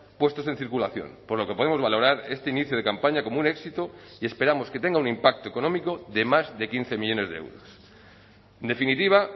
puestos en circulación por lo que podemos valorar este inicio de campaña como un éxito y esperamos que tenga un impacto económico de más de quince millónes de euros en definitiva